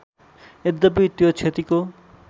यद्यपि त्यो क्षतिको